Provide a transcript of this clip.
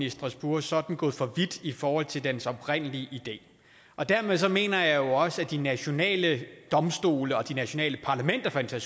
i strasbourg så er den gået for vidt i forhold til dens oprindelige idé dermed mener jeg jo også at de nationale domstole og de nationale parlamenter for den